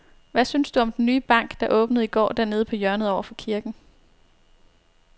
Hvad synes du om den nye bank, der åbnede i går dernede på hjørnet over for kirken?